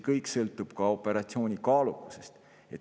Kõik sõltub ka operatsiooni kaalukusest.